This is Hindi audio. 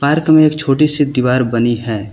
पार्क में एक छोटी सी दीवार बनी है।